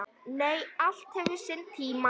Nei, allt hefur sinn tíma.